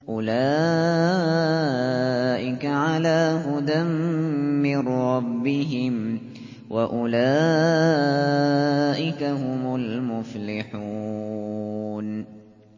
أُولَٰئِكَ عَلَىٰ هُدًى مِّن رَّبِّهِمْ ۖ وَأُولَٰئِكَ هُمُ الْمُفْلِحُونَ